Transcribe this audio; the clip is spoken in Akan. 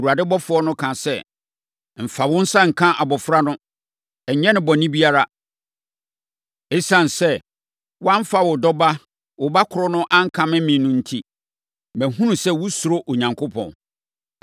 Awurade ɔbɔfoɔ no kaa sɛ, “Mfa wo nsa nka abɔfra no. Ɛnyɛ no bɔne biara. Esiane sɛ woamfa wo dɔ ba, wo ba korɔ no ankame me no enti, mahunu sɛ wosuro Onyankopɔn.”